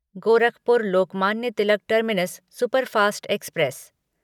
Gorakhpur Lokmanya Tilak terminus superfast express